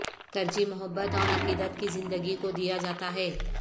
ترجیح محبت اور عقیدت کی زندگی کو دیا جاتا ہے